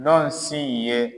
Nɔsi ye.